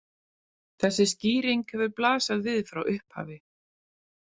Þessi skýring hefur blasað við frá upphafi.